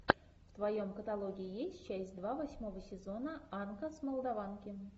в твоем каталоге есть часть два восьмого сезона анка с молдаванки